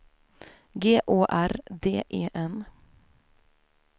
G Å R D E N